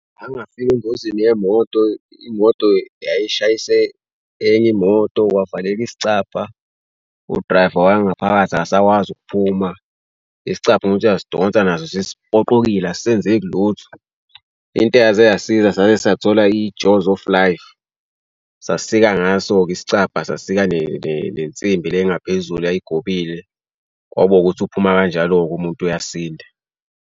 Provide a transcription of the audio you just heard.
Ngake ngafika engozini yemoto imoto yayishayise enye imoto kwavaleka isicabha u-driver wangaphakathi akasakwazi ukuphuma isicabha uma uthi uyasidonsa nazo sesipoqokile asisenzeki lutho. Into eyaze yasiza saze sathola i-jaws of life sasika ngaso-ke isicabha, sasika nezinsimbi le engaphezulu yayigobile kwabo ukuthi uphuma kanjalo-ke umuntu uyasinda.